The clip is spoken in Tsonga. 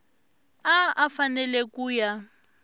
a a fanele ku ya